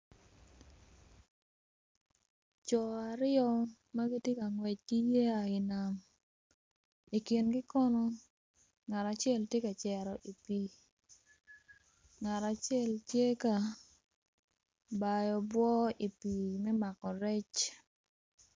Coo aryo magitye ka ngwec ki yeya i nam ikingi kono ngat acel tye ka cero i pii ngat acel tye ka bayo obwor i pii me mako rec